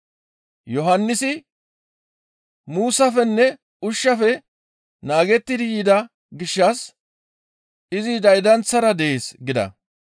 Yohannisi muussafenne ushshafe naagettidi yida gishshas, ‹Izi daydanththara dees› gida.